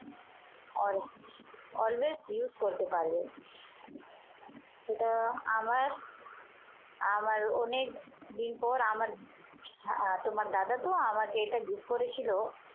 always use করতে পারবেন এটা আমার আমার অনেকদিন পর আমার তোমার দাদা তো আমাকে এটা gift করেছিল